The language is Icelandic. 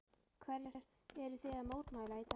Hverju eruð þið að mótmæla í dag?